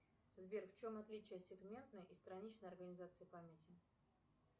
сбер в чем отличие сегментной и страничной организации памяти